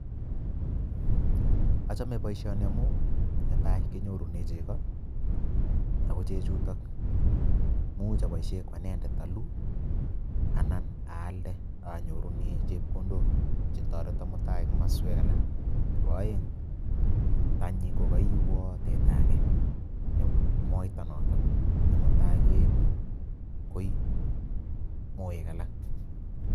Ochome boishoni amun netai kenyorune cheko ako chechutok imuch iboishen anendet oluu anan aalde onyorunen chepkondok chetoreton koyai en komoswek alak. Nebo oeng tanyi ko koiwon teta age ne moita noton ne mutai koet koi moek alak.